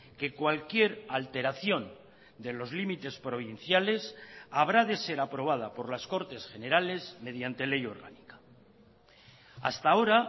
que cualquier alteración de los límites provinciales habrá de ser aprobada por las cortes generales mediante ley orgánica hasta ahora